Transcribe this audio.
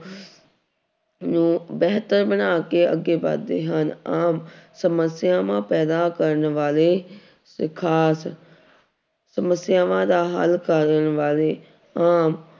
ਨੂੰ ਬਿਹਤਰ ਬਣਾ ਕੇ ਅੱਗੇ ਵੱਧਦੇ ਹਨ ਆਮ ਸਮੱਸਿਆਵਾਂ ਪੈਦਾ ਕਰਨ ਵਾਲੇ ਤੇ ਖ਼ਾਸ ਸਮੱਸਿਆ ਦਾ ਹੱਲ ਕਰਨ ਵਾਲੇ ਆਮ